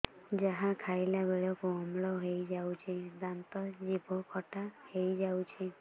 ଯାହା ଖାଇଲା ବେଳକୁ ଅମ୍ଳ ହେଇଯାଉଛି ଦାନ୍ତ ଜିଭ ଖଟା ହେଇଯାଉଛି